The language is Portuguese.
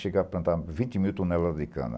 Chegava a plantar vinte mil toneladas de cana.